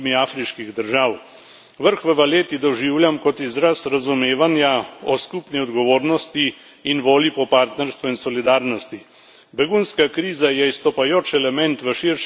Vrh v Valetti doživljam kot izraz razumevanja o skupni odgovornosti in volji po partnerstvu in solidarnosti. Begunska kriza je izstopajoč element v širšem konfliktnem kontekstu.